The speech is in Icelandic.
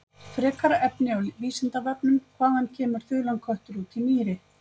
Frekara lesefni á Vísindavefnum: Hvaðan kemur þulan köttur út í mýri.